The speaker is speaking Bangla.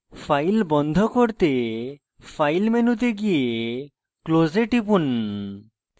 file বন্ধ করতে file মেনুতে go close এ টিপুন